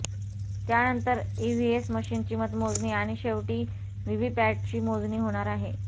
त्यानंतर ईव्हीएम मशीनची मतमोजणी आणि शेवटी व्हीव्हीपॅटची मोजणी होणार आहे